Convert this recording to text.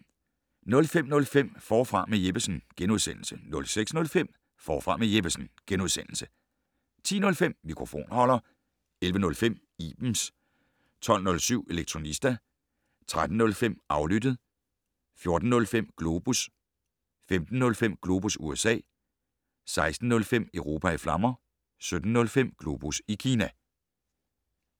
05:05: Forfra med Jeppesen * 06:05: Forfra med Jeppesen * 10:05: Mikrofonholder 11:05: Ibens 12:07: Elektronista 13:05: Aflyttet 14:05: Globus 15:05: Globus USA 16:05: Europa i flammer 17:05: Globus Kina